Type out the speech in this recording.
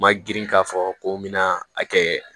Ma girin k'a fɔ ko n bɛ na a kɛ